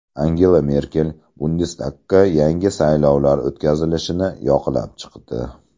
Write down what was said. Angela Merkel bundestagga yangi saylovlar o‘tkazilishini yoqlab chiqdi.